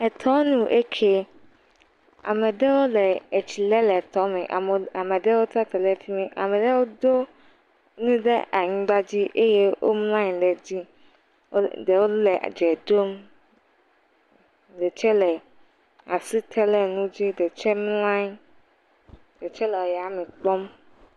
Etɔnu eke, ame ɖewo le etsi lem le tɔme, ame ɖewo tsi atsitre le fi mi, ame ɖewo do nu ɖe anyigbadzi eye womlɔ anyi ɖe edzi eye ɖewo le dze ɖom, ɖe tse le asi te le nu dzi ɖe tse mlɔ anyi, ɖe tse le ayame kpɔm.